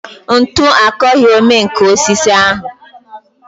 Ntu akọghị omenkà osisi ahụ